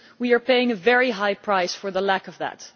We are paying a very high price for the lack of that.